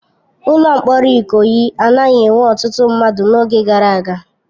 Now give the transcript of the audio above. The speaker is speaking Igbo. Ụlọ mkpọrọ Ikoyi anaghị enwe ọtụtụ mmadụ n'oge gara aga.